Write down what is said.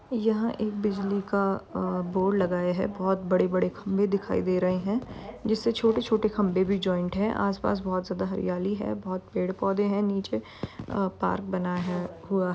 यह एक बिजली का अ बोर्ड लगाय है। बहोत बड़े-बड़े खम्भे दिखाई दे रहे हैं जिससे छोटे-छोटे खम्भे भी जॉइंट है। आस-पास बहोत ज्यादा हरियाली है। बहोत पेड़ पौधे हैं। नीचे अ पार्क बना है। हुआ --